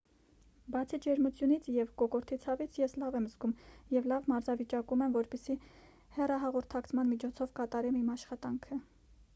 բացի ջերմությունից և կոկորդի ցավից ես լավ եմ զգում և լավ մարզավիճակում եմ որպեսզի հեռահաղորդակցման միջոցով կատարեմ իմ աշխատանքը